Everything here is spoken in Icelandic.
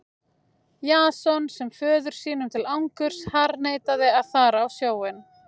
Jason sem föður sínum til angurs harðneitaði að fara á sjóinn.